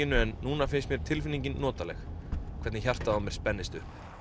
en núna finnst mér tilfinningin notaleg hvernig hjartað á mér spennist upp